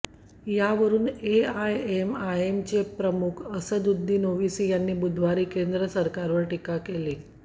यावरुन एआयएमआयएमचे प्रमुख असदुद्दीन ओवेसी यांनी बुधवारी केंद्र सरकारवर टीका केली